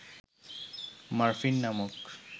morphine নামক